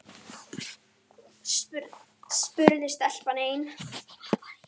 spurði stelpan enn.